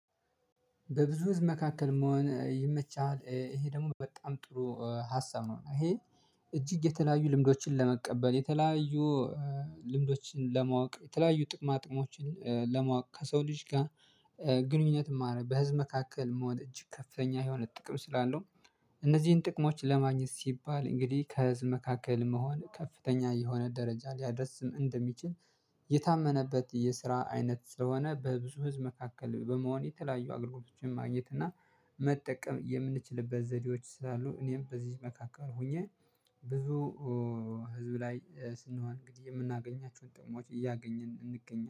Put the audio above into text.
በብዙ ህዝብ መካከል መሆን ይመቻል ይሄ ደግሞ በጣም ጥሩ ሀሳብ ነው። ይሄ እጅግ የተለያዩ ልምዶችን ለመቀበል የተለያዩ ልምዶችን ለማወቅ የተለያዩ ጥቅማ ጥቅሞችን ለማወቅ ከሰው ልጅ ጋር። ግንኙነት ማረ በህዝብ መካከል መውደድ እጅግ ከፍተኛ የሆነ ጥቅም ስላለው እነዚህን ጥቅሞች ለማግኘት ሲባል እንግዲህ ከህዝብ መካከል መሆን ከፍተኛ የሆነ ደረጃ ሊያደርስም እንደሚችል። የታመነበት የስራ አይነት ስለሆነ በብዙ ህዝብ መካከል በመሆን የተለያዩ አገልግሎቶችን ማግኘት እና መጠቀም የምንችልበት ዘዴዎች ስላሉ እኔም በዚህ መካከል ሆኜ። ብዙ ህዝብ ላይ ስንሆን እንግዲህ የምናገኛቸውን ጥሞች እያገኘን እንገኛለን